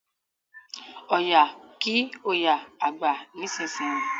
Ọya kí oya àgbà nísìsiyìí!